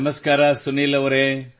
ನಮಸ್ಕಾರ ಸುನೀಲ್ ಅವರೇ